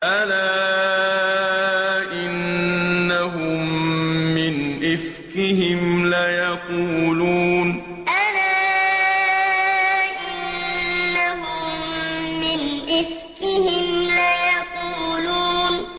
أَلَا إِنَّهُم مِّنْ إِفْكِهِمْ لَيَقُولُونَ أَلَا إِنَّهُم مِّنْ إِفْكِهِمْ لَيَقُولُونَ